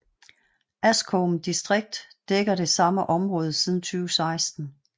Askome distrikt dækker det samme område siden 2016